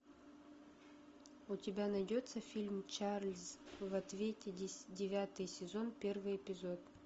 у тебя найдется фильм чарльз в ответе девятый сезон первый эпизод